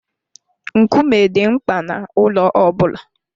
Nkume dị mkpa n'ụlọ ọ bụla.